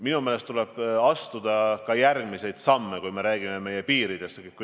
Minu meelest tuleb astuda ka järgmisi samme, kui me räägime meie piiridest.